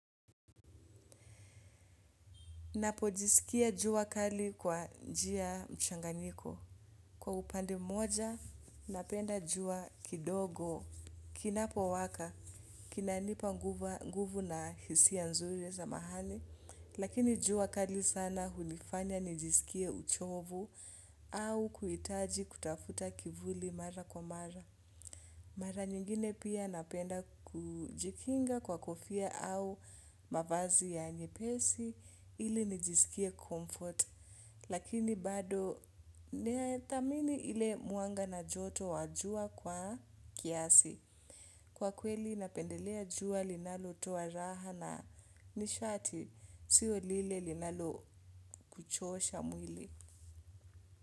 Napojisikia jua kali kwa njia mchanganyiko. Kwa upande moja, napenda jua kidogo, kinapo waka, kinanipa nguvu na hisiya nzuri za mahali, lakini jua kali sana hunifanya nijisikia uchovu au kuitaji kutafuta kivuli mara kwa mara. Mara nyingine pia napenda kujikinga kwa kofia au mavazi ya nyepesi ili nijisikie comfort. Lakini bado neatamini ile muanga na joto wajua kwa kiasi. Kwa kweli napendelea jua linalo toa raha na nishati siyo lile linalo kuchosha mwili.